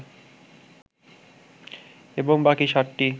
এবং বাকি সাতটি